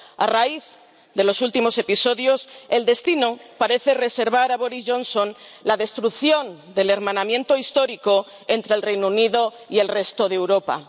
A raíz de los últimos episodios, el destino parece reservar a Boris Johnson la destrucción del hermanamiento histórico entre el Reino Unido y el resto de Europa.